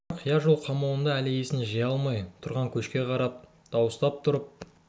тұрар қия жол қамауында әлі есін жия алмай тұрған көшке қарап дауыстап тұрып